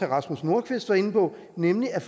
rasmus nordqvist var inde på nemlig at